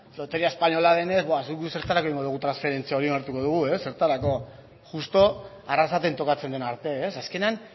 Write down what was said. loteria espainola denez zertarako egingo dugu transferentzia hori onartuko dugu ez zertarako justu arrasaten tokatzen den arte ez azkenean